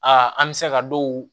Aa an bɛ se ka dɔw